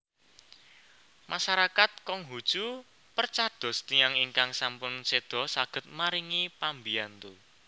Masarakat Konghuchu percados tiyang ingkang sampun seda saged maringi pambiyantu